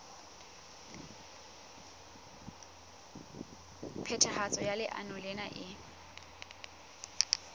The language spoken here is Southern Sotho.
phethahatso ya leano lena e